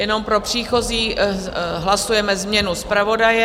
Jenom pro příchozí, hlasujeme změnu zpravodaje.